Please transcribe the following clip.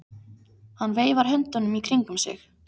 Hann veifar höndunum í kringum sig.